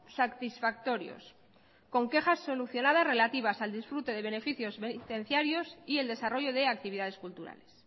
satisfactorios con quejas solucionadas relativas al disfrute de beneficios penitenciarios y el desarrollo de actividades culturales